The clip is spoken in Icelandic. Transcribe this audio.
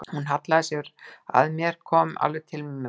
Hún hallaði sér að mér, kom alveg til mín með vangann.